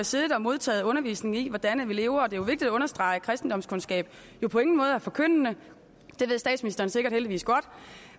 siddet og modtaget undervisning i hvordan vi lever og det er vigtigt at understrege at kristendomskundskab jo på ingen måde er forkyndende det ved statsministeren sikkert heldigvis godt